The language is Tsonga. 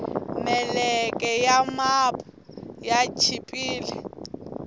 meleke ya mapu ya chipile